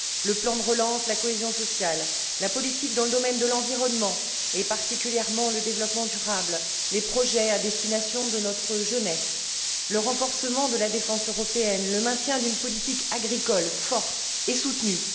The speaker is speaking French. le plan de relance, la cohésion sociale, la politique dans le domaine de l'environnement, et particulièrement le développement durable, les projets à l'intention de notre jeunesse, le renforcement de la défense européenne, le maintien d'une politique agricole forte et soutenue.